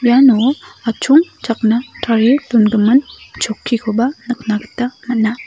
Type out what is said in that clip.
iano atchongchakna tarie dongimin chokkikoba nikna gita man·a.